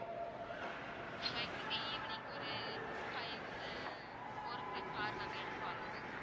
so எங்களுக்கு evening ஒரு five இல்ல four க்குள்ள car நாங்க எடுக்க வந்துருவோம் ma'am